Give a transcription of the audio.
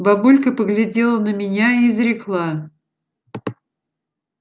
бабулька поглядела на меня и изрекла